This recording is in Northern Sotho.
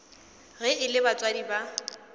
ge e le batswadi ba